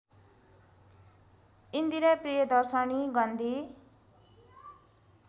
Indira Priyadarshini Gandhi